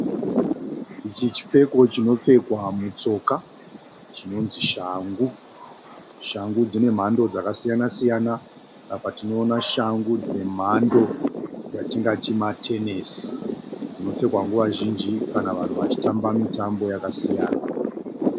Ichi chipfeko chinopfekwa mutsoka chinonzi shangu. Shangu dzine mhando dzaka siyana-siyana. Apa tiona shangu dzemhando yatingati matenesi. Dzino pfekwa nguva zhinji kana vanhu vachitamba mitambo yaka siyana.